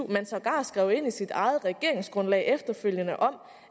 man sågar skrev ind i sit eget regeringsgrundlag efterfølgende om